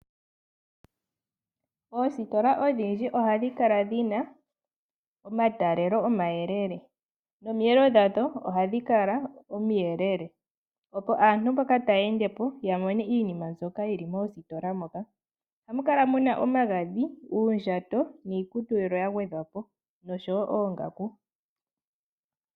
Oositola odhindji ohadhi kala dhina omatalelo oma yelele nomiyelo dha dho ohadhi kala omiyelele, opo aantu mboka ta yendepo ya mone iinima mbyoka yili moositola moka. Oha mukala muna omagadhi, uundjato niikutu yilwe ya gwedhwapo nosho woo oongaku.